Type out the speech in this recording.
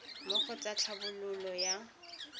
mo go tsa tlhabololo ya